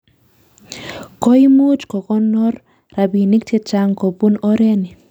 Koimuch kokonor rabinik chechaang kobun oreni